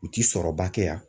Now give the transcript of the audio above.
U ti sɔrɔba kɛ yan.